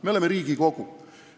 Me oleme Riigikogu!